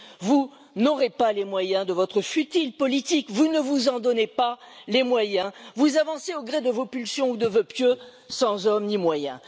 Vous n'aurez pas les moyens de votre futile politique, vous ne vous en donnez pas les moyens, vous avancez au gré de vos pulsions ou de vœux pieux sans hommes ni moyens.